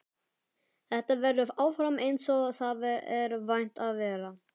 Þetta verður áfram einsog það er vant að vera.